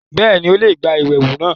Bẹ́ẹ̀ni, Ó le gba iyẹwu náa